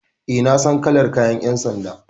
E, na san kalar kayan ƴan sanda.